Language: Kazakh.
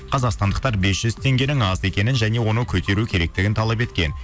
қазақстандықтар бес жүз теңгенің аз екенін және оны көтеру керектігін талап еткен